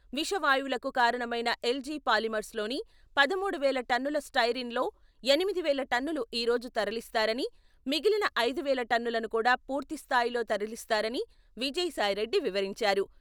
విష వాయువులకు కారణమైన ఎల్జీ పాలిమర్స్‌లోని పదమూడు వేల టన్నుల స్టెరీన్లో ఎనిమిది వేల టన్నులు ఈ రోజు తరలిస్తారని, మిగిలిన ఐదు వేల టన్నులను కూడా పూర్తి స్థాయిలో తరలిస్తారని విజయసాయిరెడ్డి వివరించారు.